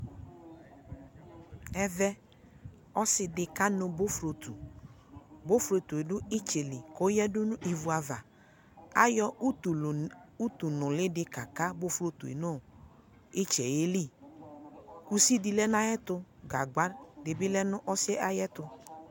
Ɛvɛ ɔsi dι kanʋ bofrotuBofrotu dʋ itsɛ li kʋ ɔyadʋ nʋ ivu avaAyɔ utʋlʋ utʋ luuli dι kaka bofrotue nʋ itsɛ yɛ liIsi dι lɛ nʋ ayi ɛtʋ Gagba dι bι lɛ nʋ ayi ɛtʋ